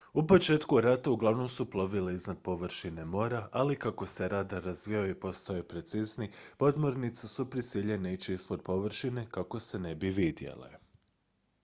u početku rata uglavnom su plovile iznad površine mora ali kako se radar razvijao i postajao precizniji podmornice su prisiljene ići ispod površine kako se ne bi vidjele